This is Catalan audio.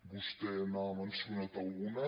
vostè n’ha mencionat alguna